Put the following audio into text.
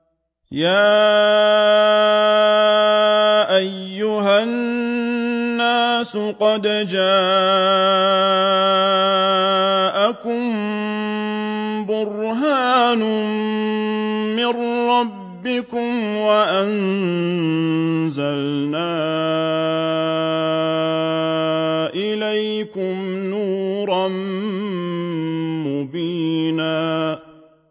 يَا أَيُّهَا النَّاسُ قَدْ جَاءَكُم بُرْهَانٌ مِّن رَّبِّكُمْ وَأَنزَلْنَا إِلَيْكُمْ نُورًا مُّبِينًا